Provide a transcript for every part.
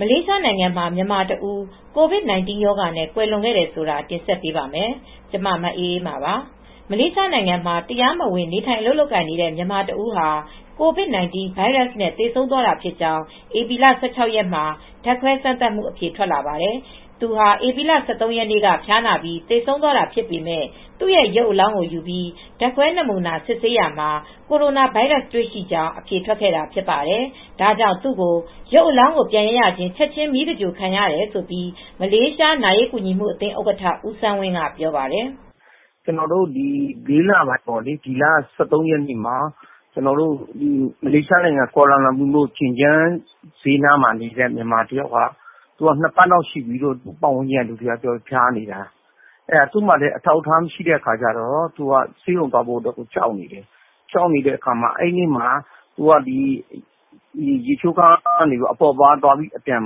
မလေးရှားနိုင်ငံမှာ မြန်မာတဦး COVID-19 ရောဂါနဲ့ ကွယ်လွန်တယ်ဆိုတာကို ဗွီအိုအေ မြန်မာပိုင်း သတင်းထောက် မအေးအေးမာ ကတင်ဆက်ပေးပါမယ်။ မလေးရှားနိုင်ငံမှာ တရားမဝင်နေထိုင် အလုပ်လုပ်ကိုင်နေတဲ့ မြန်မာတဦးဟာ COVID-19 ဗိုင်းရပ်စ်နဲ့ သေဆုံးသွားတာဖြစ်ကြောင်း ဧပြီလ ၁၆ ရက်မှာ ဓါတ်ခွဲစမ်းသပ်မှု အဖြေထွက်လာပါတယ်။ သူဟာ ဧပြီ ၁၃ ရက်နေ့က ဖျားနာပြီး သေဆုံးသွားတာဖြစ်ပေမဲ့ သူ့ရုပ်အလောင်းကို ယူပြီး ဓါတ်ခွဲနမူနာယူ စစ်ဆေးရာမှာ ကိုရိုနာဗိုင်းရပ်စ် တွေ့ရှိကြောင်း အဖြေထွက်ခဲ့တာဖြစ်ပါတယ်။ ဒါကြောင့်လည်း သူ့ကို ရုပ်အလောင်းကို ပြန်ရရချင်း ချက်ခြင်း မီးသဂြိုၤလ်ခံရတယ်လို့ မလေးရှားနာရေးကူညီမှုအသင်း ဥက္ကဋ္ဌ ဦးစန်းဝင်က ပြောပါတယ်။ "လေးလပိုင်း ဒီလ ၁၃ မလေးရှားနိုင်ငံ ကွာလာလမ်ပူ ရှင်ကျန်းနားမှာနေတဲ့ မြန်မာတယောက်က ဖျားနေတာ ၂ ပတ်လောက်ရှိပြီ ဖျားနေတာ ပတ်ဝန်းကျင်းကပြောတယ်။ သူမှာလည်း အထောက်အထားလည်း မရှိတော့ ဆေးရုံလည်းသွားဖို့ကြောက်နေတာ အဲဒီနေ့မှာ ရေချိုးခန်းနားက အပေါ့အပါးသွားပြီး အပြန်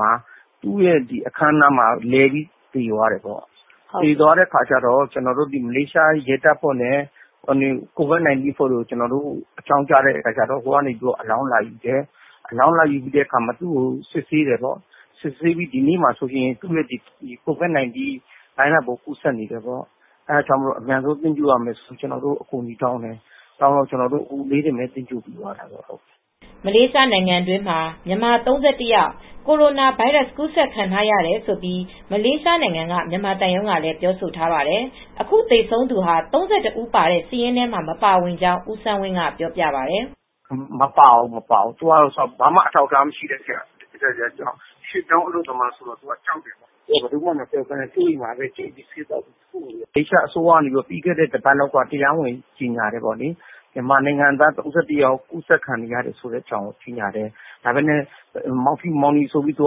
မှာပဲ သူ့အခန်းထဲမှာ လဲပြီး သေသွားတာပေါ့။ မလေးရှားရဲ့ ရဲတပ်ဖွဲ့က COVID-19 အဖွဲ့တို့ကို ကျနော်တို့အဖွဲက အကြောင်းကြားတယ်။ သူတို့အလောင်း လာယူတယ်။ ဒီနောက်စစ်ကြည့်တာ ဒီနေ့ပဲ အဖြေထွက်တယ်။ COVID-19 ဗိုင်းရပ်စ်ပိုး ကူးစက်နေတယ်လို့ ကျနော်တို့ကို အကြောင်းကြားပြီး အကူညီတောင်းတယ်။ ချက်ချင်းသဂြိုလ်ရမယ်ဆိုလို့ ကျနော်တို့ အကူအညီတောင်းတော့ကျနော်တို့ အခုပဲ သူကိုသဂြိုၤလ်ပြီးတယ်။" မလေးရှားနိုင်ငံတွင်းမှာ မြန်မာ ၃၁ ယောက် ကိုရိုနာဗိုင်းရပ်စ်ကူးစက်ခံရတယ်လို့ မလေးရှားနိုင်ငံက မြန်မာသံရုံးကလည်း ပြောဆိုထားပါတယ်။ အခု သေဆုံးသူဟာ ၃၁ ဦးပါတဲ့စာရင်းထဲမှာ မပါဝင်ကြောင်း ဦးစန်းဝင်းက ပြောပြပါတယ်။ "မပါဘူး၊ မပါဘူးသူကတော့ ဘာမှအထောက်အထား မဟုတ်တော့ တရားဝင်အလုပ်သမား မဟုတ်တော့ သူက ဆေးရုံသွားရမှာ ကြောက်တယ်လေ မလေးရှားမှာလည်း မြန်မာတွေ ကူးစက်ခံရတာ ၃၁ ယောက်ရှိတယ်လို့ ပြီခဲ့တဲ့တပတ်ထဲကကြေငြာတယ်။ မြန်မာနိုင်ငံသား ၃၁ ယောက်ကူးစက်ခံရတယ်လို့ ကြေငြာတယ်။ မောင်ဖြူ မောင်နီ စသဖြင့်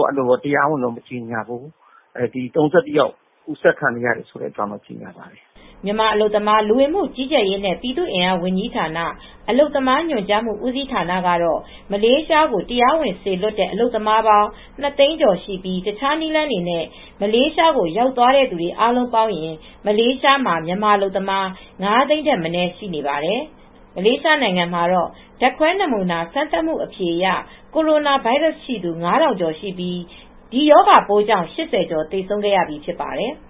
မပြောဘူး။ မြန်မာနိုင်ငံသားတွေ ၃၁ ယောက်ကူးစက်ခံရတယ်လို့ပဲ ကြေငြာပါတယ်။" မြန်မာ အလုပ်သမား လူဝင်မှုကြီးကြပ်ရေးနဲ့ ပြည်သူအင်အားဝန်ကြီးဌာန အလုပ်သမားညွှန်ကြားမှုဦးစီးဌာနကတော့ မလေးရှားကို တရားဝင်စေလွှတ်တဲ့ အလုပ်သမားပေါင်း ၂၀၀,၀၀၀ ကျော်ရှိပြီး တခြားနည်းလမ်းတွေနဲ့ မလေးရှားကို ရောက်သွားသူ အားလုံးပေါင်းရင် မလေးရှားမှာ မြန်မာအလုပ်သမား ၅၀၀,၀၀၀ ထက်မနည်း ရှိနေပါတယ်။ မလေးရှားနိုင်ငံမှာတော့ ဓါတ်ခွဲနမူနာစမ်းသပ်မှု အဖြေအရ ကိုရိုနာဗိုင်းရပ်စ်ရှိသူ ၅,၀၀၀ ကျော်ရှိပြီး ဒီရောဂါပိုးကြောင်း ၈၀ ကျော် သေဆုံးခဲ့ရပြီး ဖြစ်ပါတယ်။